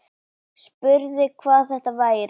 Spurði hvað þetta væri.